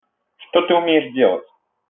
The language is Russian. что ты умеешь делать